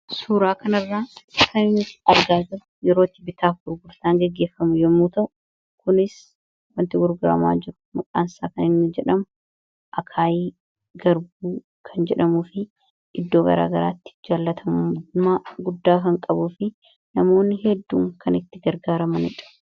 suuraa kana irraa kan argaa jirruyerooti bittaafi gurgurtaan geggeeffamu yommuu ta'u kunis wanti gurguraamaa jiru maqaansaa kan inni jedhamu akaayii garbuu kan jedhamuu fi iddoo garaa garaatti jaallatamumaa guddaa kan qabuu fi namoonni hedduun kan itti gargaara maniidha